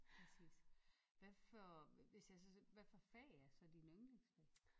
Præcis hvad for hvis jeg så hvad for fag er så dine ynglingsfag?